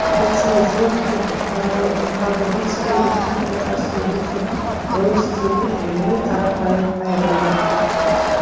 рецензенттер боровскийдің техникасы ерекше оның стилі ылғи қарапайым қайырымды